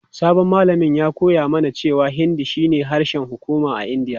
Sabon malamin ya koya mana cewa Hindi shine harshen hukuma a Indiya.